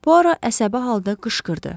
Puaro əsəbi halda qışqırdı.